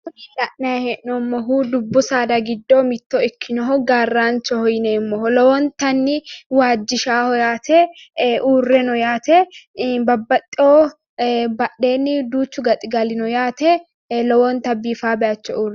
Kuni la'nayi hee'noommohu dubbu saada giddo mitto ikkinoho su'masi gaarraanchoho yineemmoho lowontanni waajjishannoho badhesinni duuchu gaxigali afamanno lowobta biifanno bayicho uurre afamanno